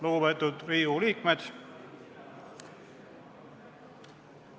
Lugupeetud Riigikogu liikmed!